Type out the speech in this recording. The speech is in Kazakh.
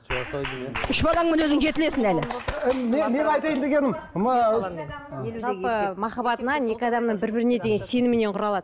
үш балаңмен өзің жетілесің әлі мен айтайын дегенім м ыыы жалпы махаббат мына екі адамның бір біріне деген сенімінен құралады